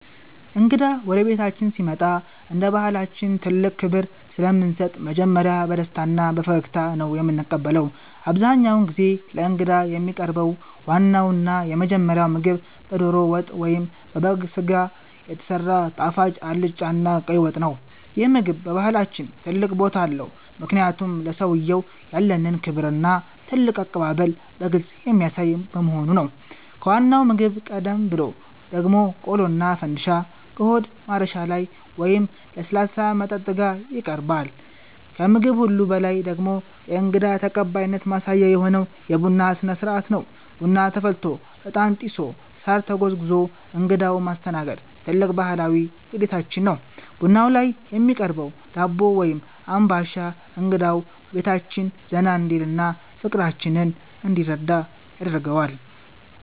እንግዳ ወደ ቤታችን ሲመጣ እንደ ባሕላችን ትልቅ ክብር ስለምንሰጥ መጀመሪያ በደስታና በፈገግታ ነው የምንቀበለው። አብዛኛውን ጊዜ ለእንግዳ የሚቀርበው ዋናውና የመጀመሪያው ምግብ በደሮ ወጥ ወይም በበግ ሥጋ የተሰራ ጣፋጭ አልጫና ቀይ ወጥ ነው። ይህ ምግብ በባሕላችን ትልቅ ቦታ አለው፤ ምክንያቱም ለሰውየው ያለንን ክብርና ትልቅ አቀባበል በግልጽ የሚያሳይ በመሆኑ ነው። ከዋናው ምግብ ቀደም ብሎ ደግሞ ቆሎና ፈንድሻ ከሆድ ማረሻ ሻይ ወይም ለስላሳ መጠጥ ጋር ይቀርባል። ከምግብ ሁሉ በላይ ደግሞ የእንግዳ ተቀባይነት ማሳያ የሆነው የቡና ሥነ-ሥርዓት ነው። ቡና ተፈልቶ፣ ዕጣን ጢሶ፣ ሳር ተጎዝጉዞ እንግዳውን ማስተናገድ ትልቅ ባሕላዊ ግዴታችን ነው። ቡናው ላይ የሚቀርበው ዳቦ ወይም አምባሻ እንግዳው በቤታችን ዘና እንዲልና ፍቅራችንን እንዲረዳ ያደርገዋል።